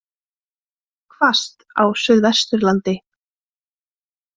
Hvasst á Suðvesturlandi